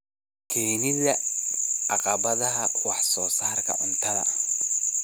Keenida caqabadaha wax soo saarka cuntada.